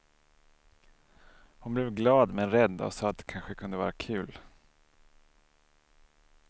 Hon blev glad men rädd och sa att det kanske kunde vara kul.